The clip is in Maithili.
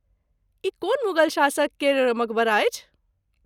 ई कोन मुगल शासक केर मकबरा अछि?